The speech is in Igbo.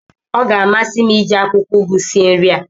ọ ga-amasị m iji akwụkwọ ụgụ sie nri a